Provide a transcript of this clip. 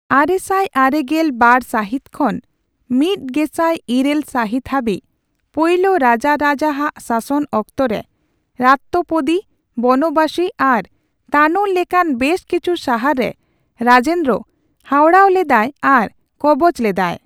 ᱟᱨᱮᱥᱟᱭ ᱟᱨᱮᱜᱮᱞ ᱵᱟᱨ ᱥᱟᱹᱦᱤᱛ ᱠᱷᱚᱱ ᱢᱤᱛ ᱜᱮᱥᱟᱭ ᱤᱨᱟᱹᱞ ᱥᱟᱹᱦᱤᱛ ᱦᱟᱹᱵᱤᱡ ᱯᱳᱭᱞᱳ ᱨᱟᱡᱟᱨᱟᱡᱟ ᱟᱜ ᱥᱟᱥᱚᱱ ᱚᱠᱛᱚ ᱨᱮ, ᱨᱟᱛᱛᱮᱯᱚᱫᱤ, ᱵᱚᱱᱚᱵᱟᱥᱤ ᱟᱨ ᱛᱟᱱᱳᱨ ᱞᱮᱠᱟᱱ ᱵᱮᱹᱥ ᱠᱤᱪᱷᱩ ᱥᱟᱦᱟᱨ ᱨᱮ ᱨᱟᱡᱮᱱᱫᱨᱚ ᱦᱟᱣᱲᱟᱣ ᱞᱮᱫᱟᱭ ᱟᱨ ᱠᱚᱵᱚᱡᱽ ᱞᱮᱫᱟᱭ ᱾